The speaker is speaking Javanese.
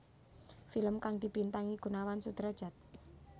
Film kang dibintangi Gunawan Sudradjat